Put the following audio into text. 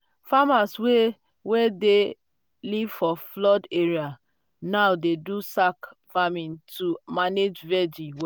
um farmers wey dey dey live for flood area now dey um do sack farming to um manage vegi